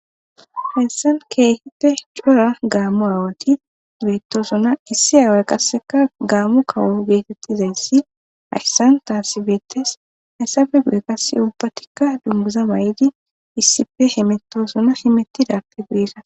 Hessan keehite cora gaammu aawati beetosona issi aaway qasseka gaammu kawu geetettizayssi hassan taasi beetes hayssafe guye qasse ubbatikka dunguza may7idi issife hemetosona himettidappe guyeka.